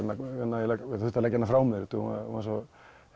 þurft að leggja hana frá mér hún var svo